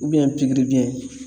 pikiri biyɛn